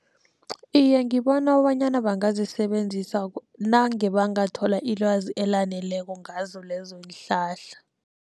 Iye, ngibona kobanyana bangazisebenzisa nange bangathola ilwazi elaneleko ngazo lezonhlahla.